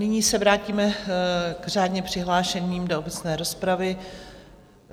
Nyní se vrátíme k řádně přihlášeným do obecné rozpravy.